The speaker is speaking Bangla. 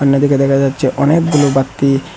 দিকে দেখা যাচ্ছে অনেকগুলো বাতি।